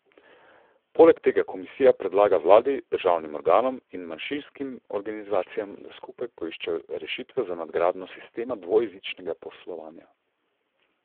Poleg tega komisija predlaga vladi, državnim organom in manjšinskim organizacijam, da skupaj poiščejo rešitve za nadgradnjo sistema dvojezičnega poslovanja.